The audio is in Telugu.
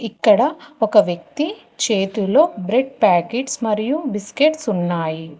ఇక్కడ ఒక వ్యక్తి చేతులో బ్రెడ్ ప్యాకెట్స్ మరియు బిస్కెట్స్ ఉన్నాయి.